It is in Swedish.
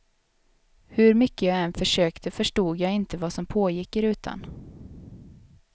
Hur mycket jag än försökte förstod jag inte vad som pågick i rutan.